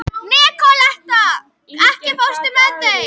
Nikoletta, ekki fórstu með þeim?